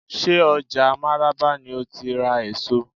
Ṣé ọjà máràba ni ó ti ra èso?